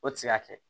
O tɛ se ka kɛ